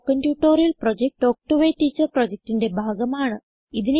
spoken tutorial project talk to a teacher പ്രൊജക്റ്റിന്റെ ഭാഗമാണ്